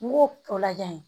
N b'o o lajɛ